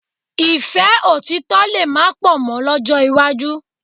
Ìfẹ́ òtítọ̀ lè má pọ̀ mọ́ lọ́jọ́ iwájú